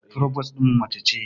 Furobos ɗinmu mace ce